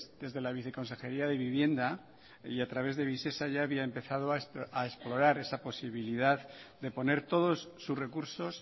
desde la viceconsejería de vivienda y a través de visesa ya había empezado a explorar esa posibilidad de poner todos sus recursos